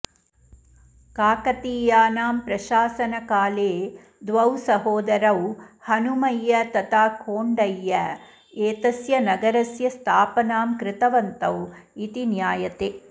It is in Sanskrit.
काकतीयानां प्रशासनकाले द्वौ सहोदरौ हनुमय्य तथा कोण्डय्य एतस्य नगरस्य स्थापनां कृतवन्तौ इति ज्ञायते